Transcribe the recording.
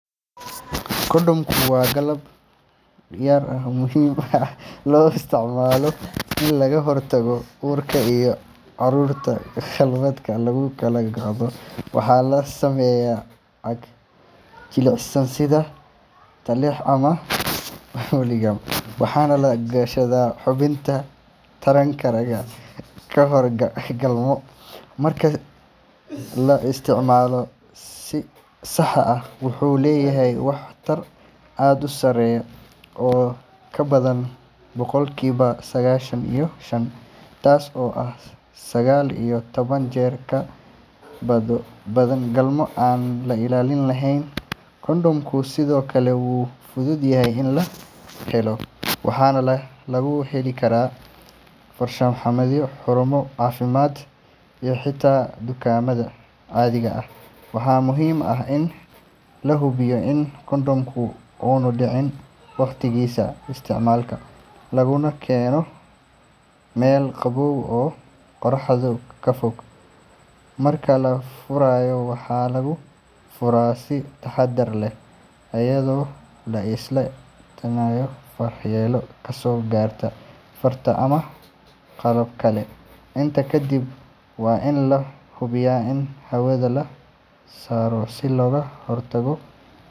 Kondhomku waa qalab yar oo muhiim ah oo loo isticmaalo in laga hortago uurka iyo cudurrada galmada lagu kala qaado. Waxaa laga sameeyaa caag jilicsan sida latex ama polyurethane, waxaana la gashaa xubinta taranka ragga ka hor galmo. Marka la isticmaalo si sax ah, wuxuu leeyahay waxtar aad u sareeya oo ka badan boqolkiiba sagaashan iyo shan, taas oo ah sagaal iyo toban jeer ka badbaado badan galmo aan ilaalin lahayn. Kondhomku sidoo kale wuu fudud yahay in la helo, waxaana laga heli karaa farmashiyo, xarumo caafimaad, iyo xitaa dukaamada caadiga ah. Waxaa muhiim ah in la hubiyo in kondhomku aanu dhicin wakhtigiisa isticmaalka, laguna keydiyo meel qabow oo qorraxda ka fog. Marka la furayo, waxaa lagu furayaa si taxadar leh iyadoo la iska ilaalinayo waxyeello kasoo gaarta farta ama qalab kale. Intaa kadib, waa in la hubiyaa in hawada laga saaro si looga hortago.